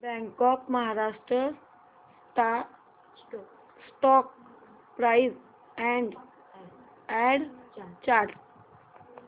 bank of Maharashtra stock price and chart